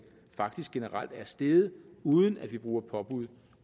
faktisk generelt er steget uden at vi bruger påbud